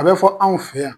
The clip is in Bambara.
A bɛ fɔ anw fɛ yan